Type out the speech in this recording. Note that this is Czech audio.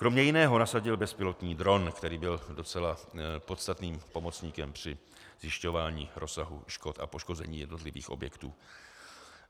Kromě jiného nasadil bezpilotní dron, který byl docela podstatným pomocníkem při zjišťování rozsahu škod a poškození jednotlivých objektů.